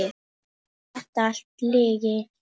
Var þetta allt lygi?